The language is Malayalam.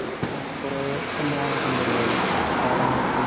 ഉം കൊറെ സംഭവങ്ങൾ ഒക്കെണ്ടല്ലോ കൊട്ടാരങ്ങളൊക്കെ.